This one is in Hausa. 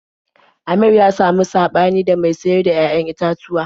Amir ya samu saɓani da mai sayar da 'ya'yan itatuwa.